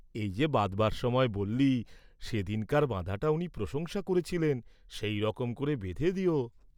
এই যে বাঁধবার সময় বল্লি, সে দিনকার বাঁধাটা উনি প্রশংসা করেছিলেন, সেই রকম করে বেঁধে দেও।